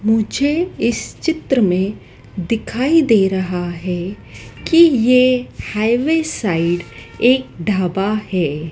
मुझे इस चित्र में दिखाई दे रहा है कि ये हाईवे साइड एक ढाबा है।